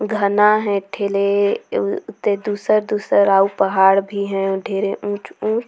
घना हे एक ठेले त अऊ दुसर-दुसर अऊ पहाड़ भी हे अऊ ढेरे उंच-उंच--